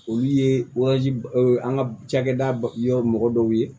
Olu ye an ka cakɛda ba yɔrɔ mɔgɔ dɔw ye